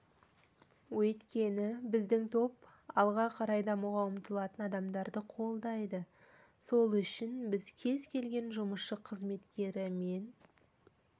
өйткені біздің топ алға қарай дамуға ұмтылатын адамдарды қолдайды сол үшін біз кез келген жұмысшы-қызметкері мен